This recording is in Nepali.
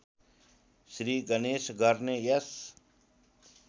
श्रीगणेश गर्ने यस